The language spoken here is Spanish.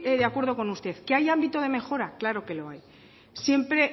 de acuerdo con usted que hay ámbito de mejora claro que lo hay siempre